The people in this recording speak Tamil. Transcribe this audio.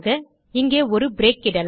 இங்கே ஒரு பிரேக் இடலாம்